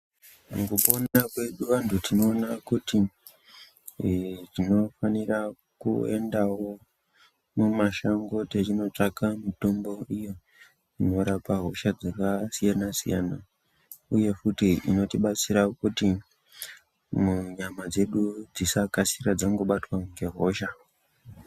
Mukupona kwedu antu tinoona kuti tinofanira kuendavo mumashango yechinotsvaka mitombo iyo inorapa hosha dzakasiyana-siyana, uye futi inotibatsira kuti munyama dzedu dzisakasira dzangobatwa ngehosha.